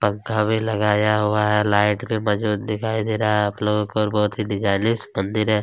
पंखा भी लगाया हुआ है लाइट में मौजूद दिखाई दे रहा है आप लोगों को और बहोत ही डिजाइनिश मंदिर है।